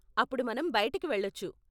అప్పుడు మనం బయటికి వెళ్ళొచ్చు.